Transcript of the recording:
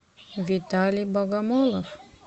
виталий богомолов